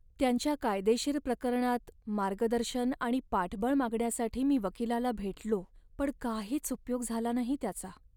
त्यांच्या कायदेशीर प्रकरणात मार्गदर्शन आणि पाठबळ मागण्यासाठी मी वकिलाला भेटलो, पण काहीच उपयोग झाला नाही त्याचा!